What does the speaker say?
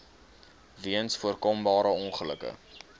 weens voorkombare ongelukke